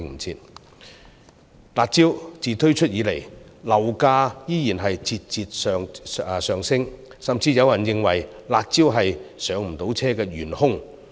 自"辣招"推出以後，樓價依然節節上升，甚至有人認為"辣招"是市民無法"上車"的元兇。